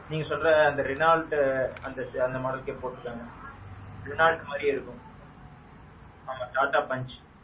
நீங்க சொல்ற அந்த Renault modelகே போட்டிருக்காங்க. Renault மாறியே இருக்கும். ஆமாம் TATA Punch.